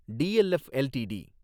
DLF LTD